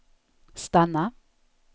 stanna